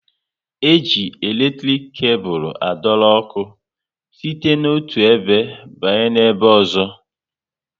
E ji eletrik kebul adoro ọkụ site na otu ebe banye n'ebe ozo